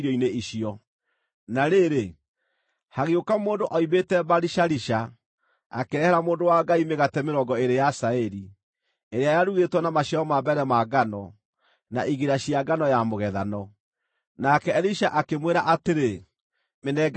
Na rĩrĩ, hagĩũka mũndũ oimĩte Baali-Shalisha, akĩrehera mũndũ wa Ngai mĩgate mĩrongo ĩĩrĩ ya cairi, ĩrĩa yarugĩtwo na maciaro ma mbere ma ngano, na igira cia ngano ya mũgethano. Nake Elisha akĩmwĩra atĩrĩ, “Mĩnengere andũ marĩe.”